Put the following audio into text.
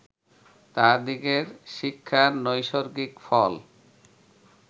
তাঁহাদিগের শিক্ষার নৈসর্গিক ফল